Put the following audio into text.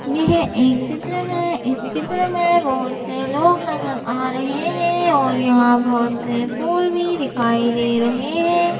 यह एक चित्र है इस चित्र में बहोत से लोग नजर आ रहे हैं और यहां बहोत से फूल भी दिखाई दे रहे हैं।